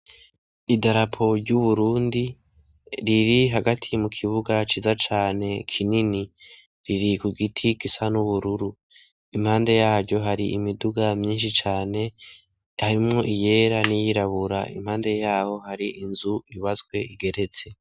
Idarapo ry'Uburundi riri hagati mu kibuga ciza cane kinini, riri ku giti gisa n'ubururu. Impande yaryo hari imiduga myinshi cane harimwo iyera n'iyirabura, impande yaho hari inzu yubatswe igeretse.